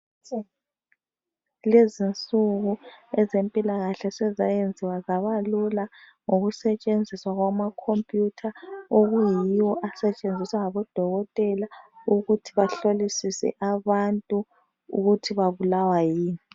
Lezinsuku ezempilakahle sezayenziwa zabalula ngokusetshenziswa kwama computha okuyiwo asetshenziswa ngabo dokotela ukuthi bahlolisise abantu ukuthi babulawa yini.